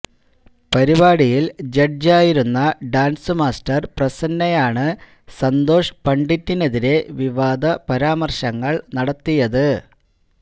പരിപാടിയില് ജഡ്ജ് ആയിരുന്ന dance master പ്രസന്നയാണ് സന്തോഷ് പണ്ഡിറ്റിനെതിരെ വിവാദ പരാമര്ശങ്ങള് നടത്തിയത്